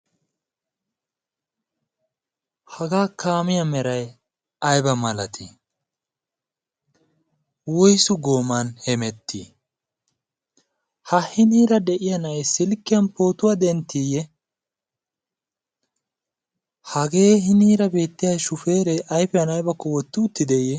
Hagaa kaamiya meray ayba malatii? woysu gooman hemettii? ha hiniira de'iya na'aay silkkiyan pootuwaa denttiiyye? hagee hiniira beettiya shufeeree ayfiyan aybakko wotti uttideye?